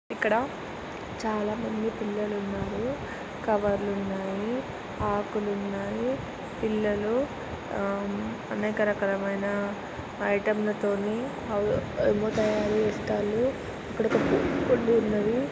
ఇక్కడ చాలా మంది పిల్లలు ఉన్నారు కవర్లు ఉన్నాయి ఆకులు ఉన్నాయి పిల్లలు ఆ అనేక రకమయిన ఐటెమ్స్ తోటి ఏవే-వో తయారుచేస్తున్నారు ఇక్కడ కొన్ని --